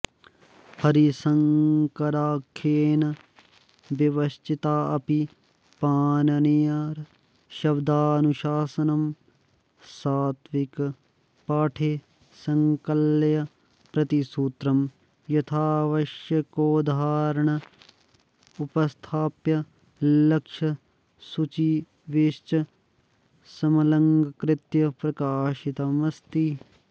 हरिशङ्कराख्येन विपश्चिताऽपि पाणिनीयर्शब्दानुशासनं सात्विकपाठे सङ्कलय्य प्रतिसूत्रं यथावश्यकोदाहरणमुपस्थाप्य लक्ष्यसुचिभिश्च समलङ्कृत्य प्रकाशितमस्ति